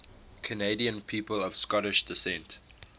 canadian people of scottish descent